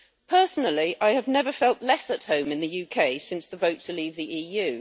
Personally, I have never felt less at home in the UK since the vote to leave the EU.